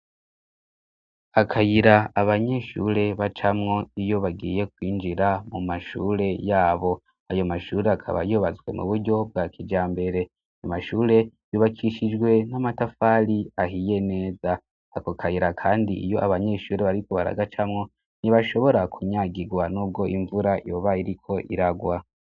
Akayira abanyeshure bacamwo iyo bagiye kwinjira mu mashure yabo ayo mashure akaba ybatswe mu buryo bwa kijambere mashure yubakishijwe n'amatafali ahiye neza ako kayira kandi iyo abanyeshure bariko baragacamwo ntibashobora kunyagigwa nubwo imvura yoba iriko iragwa.